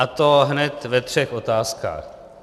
A to hned ve třech otázkách.